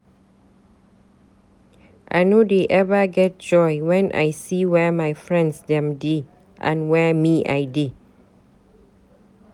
I no dey eva get joy when I see where my friends dem dey and where me I dey.